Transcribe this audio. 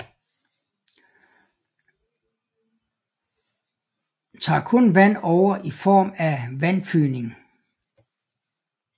Tager kun vand over i form af vandfygning